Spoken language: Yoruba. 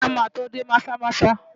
Isiah máa tó dé Maza-Maza.